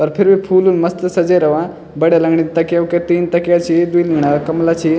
पर फिर भी फूलुल मस्त सजये रवां बढ़िया लगनी तकिया-वकिया तीन तकिया छी द्वि कंबला छी।